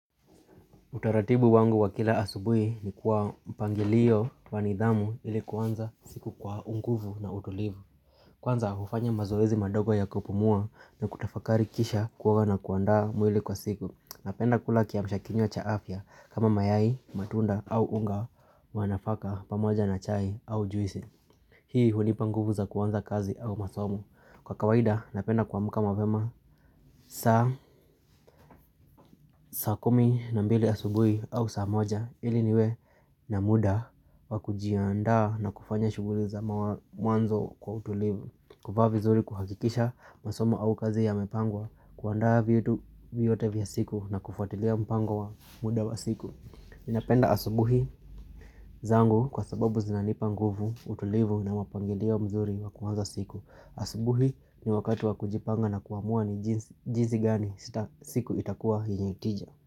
Utaratibu wangu wa kila asubuhi ni kwa mpangilio wanidhamu ili kuanza siku kwa unguvu na utulivu. Kwanza hufanya mazoezi mandogo ya kupumua na kutafakari kisha kuoga na kuandaa mwili kwa siku. Napenda kula kiamshakinywa cha afya kama mayai, matunda au unga wa nafaka pamoja na chai au juisi. Hii hunipa nguvu za kuanza kazi au masomo. Kwa kawaida, napenda kuamka mapema saa, saa kumi na mbili asubuhi au saa moja ili niwe na muda wakujiaanda na kufanya shuguli za mwanzo kwa utulivu kuvaa vizuri kuhakikisha masomo au kazi ya mepangwa kuandaa vitu vyote vya siku na kufuatilia mpangwa muda wa siku Napenda asubuhi zangu kwa sababu zinanipa nguvu utulivu na mpangilio mzuri wakuanza siku asubuhi ni wakatu wa kujipanga na kuamua ni jinsi gani siku itakuwa yenye tija.